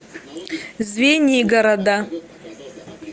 звенигорода